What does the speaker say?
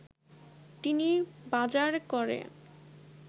তিনি বাজার করে